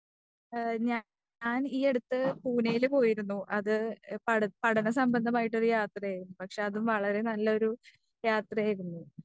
ആ ഞാൻ ഈ അടുത്ത് പൂനയില് പോയിരുന്നു അത് പഠന പഠനസംബന്ധമായ ഒരു യാത്ര ആയിരുന്നു. പക്ഷെ അത് വളരെ നല്ലൊരു യാത്ര ആയിരുന്നു.